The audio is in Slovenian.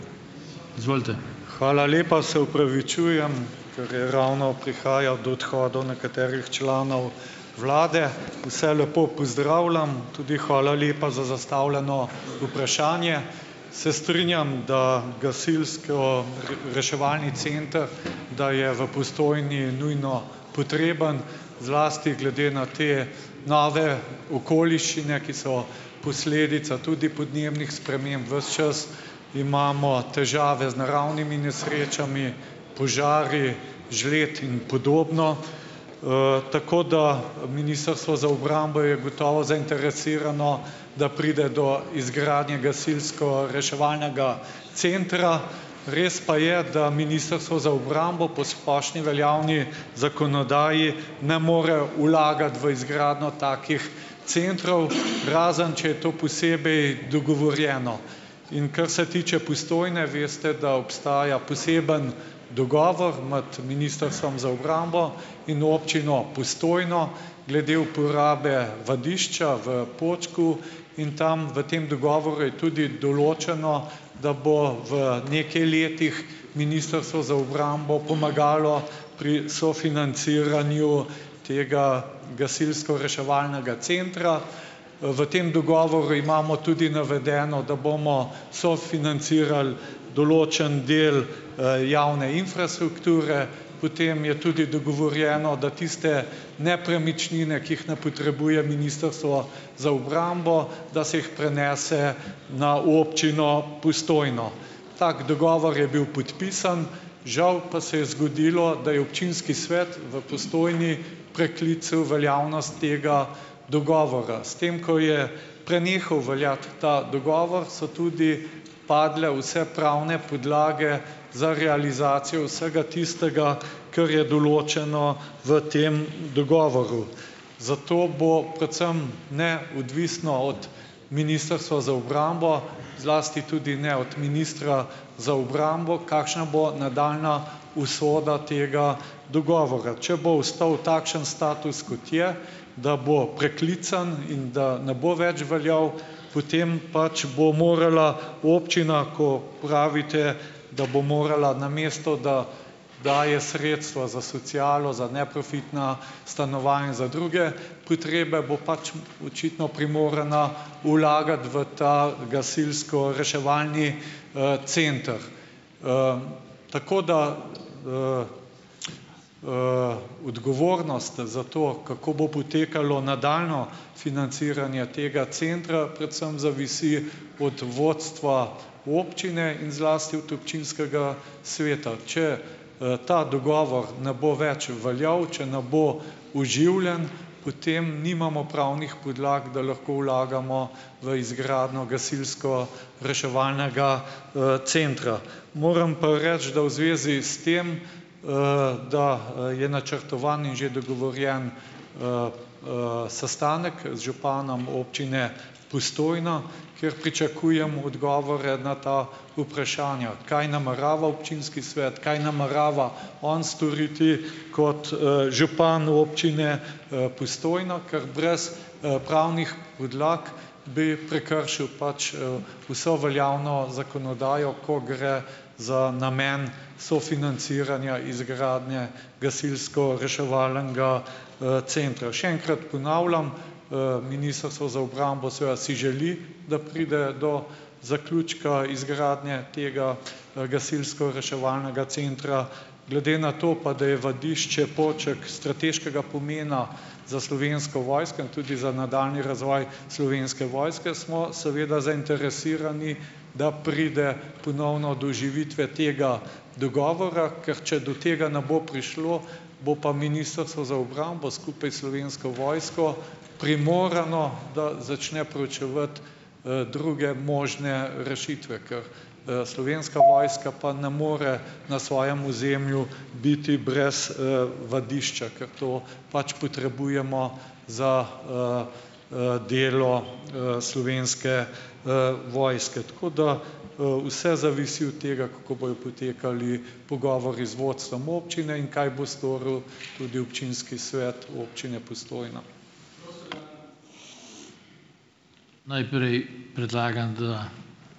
Hvala lepa. Se opravičujem, ker je ravno prihaja do odhodov nekaterih članov vlade. Vse lepo pozdravljam, tudi hvala lepa za zastavljeno vprašanje. Se strinjam, da gasilsko reševalni center, da je v Postojni nujno potreben, zlasti glede na te nove okoliščine, ki so posledica tudi podnebnih sprememb ves čas. Imamo težave z naravnimi nesrečami, požari, žled in podobno. Tako, da, Ministrstvo za obrambo je gotovo zainteresirano, da pride do izgradnje gasilsko-reševalnega centra, res pa je, da Ministrstvo za obrambo po splošni veljavni zakonodaji ne more vlagati v izgradnjo takih centrov, razen če je to posebej dogovorjeno. In kar se tiče Postojne, veste, da obstaja poseben dogovor med Ministrstvom za obrambo in občino Postojno glede uporabe vadišča v Počku in tam v tem dogovoru je tudi določeno, da bo v nekaj letih Ministrstvo za obrambo pomagalo pri sofinanciranju tega gasilsko-reševalnega centra. V tem dogovoru imamo tudi navedeno, da bomo sofinancirali določen del, javne infrastrukture, potem je tudi dogovorjeno, da tiste nepremičnine, ki jih ne potrebuje Ministrstvo za obrambo, da se jih prenese na občino Postojno. Tak dogovor je bil podpisan, žal pa se je zgodilo, da je občinski svet v Postojni preklical veljavnost tega dogovora. S tem, ko je prenehal veljati ta dogovor, so tudi padle vse pravne podlage za realizacijo vsega tistega, kar je določeno v tem dogovoru, zato bo predvsem neodvisno od Ministrstva za obrambo, zlasti tudi ne od ministra za obrambo, kakšna bo nadaljnja usoda tega odgovora. Če bo ostal takšen status, kot je, da bo preklican in da ne bo več veljal, potem pač bo morala občina, ko pravite, da bo morala, namesto da daje sredstva za socialo, za neprofitna stanovanja, za druge potrebe, bo pač očitno primorana vlagati v ta gasilsko-reševalni, center. Tako da odgovornost za to, kako bo potekalo nadaljnje financiranje tega centra predvsem zavisi od vodstva občine in zlasti od občinskega sveta. Če, ta dogovor ne bo več veljal, če ne bo oživljen, potem nimamo pravnih podlag, da lahko vlagamo v izgradnjo gasilsko- reševalnega, centra. Moram pa reči, da v zvezi s tem, da, je načrtovan in že dogovorjen sestanek, z županom občine Postojna, kjer pričakujemo odgovore na ta vprašanja, kaj namerava občinski svet, kaj namerava on storiti kot, župan občine, Postojna, ker brez, pravnih podlag bi prekršil pač, vso veljavno zakonodajo, ko gre za namen sofinanciranja izgradnje gasilsko-reševalnega, centra. Še enkrat ponavljam. Ministrstvo za obrambo seveda si želi, da pride do zaključka izgradnje tega, gasilsko-reševalnega centra glede na to, pa da je vadišče Poček strateškega pomena za Slovensko vojsko in tudi za nadaljnji razvoj Slovenske vojske, smo seveda zainteresirani, da pride ponovno do oživitve tega dogovora, ker če do tega ne bo prišlo, bo pa Ministrstvo za obrambo skupaj s Slovensko vojsko primorano, da začne preučevati, druge možne rešitve, ker, Slovenska vojska pa ne more na svojem ozemlju biti brez, vadišča, ker to pač potrebujemo za, delo, Slovenske, vojske, tako da, vse zavisi od tega, kako bojo potekali pogovori z vodstvom občine in kaj bo storil tudi Občinski svet Občine Postojna.